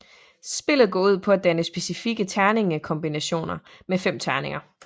Spillet går ud på at danne specifikke terningkombinationer med fem terninger